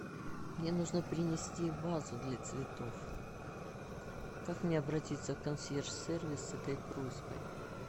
мне нужно принести вазу для цветов как мне обратиться в консьерж сервис с этой просьбой